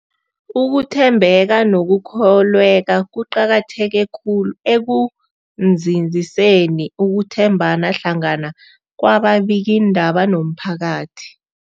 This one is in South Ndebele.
Ukuthembeka nokukholweka kuqakatheke khulu ekunzinziseni ukuthembana hlangana kwababikiindaba nomphakathi.